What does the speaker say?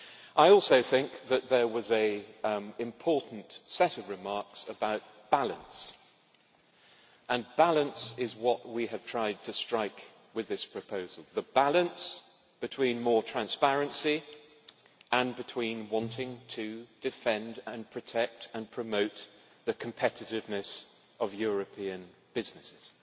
I also think that there was an important set of remarks about balance, and balance is what we have tried to strike with this proposal the balance between more transparency and wanting to defend and protect and promote the competitiveness of European businesses.